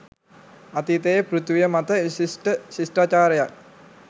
අතීතයේ පෘථිවිය මත විශිෂ්ඨ ශිෂ්ඨාචාරයක්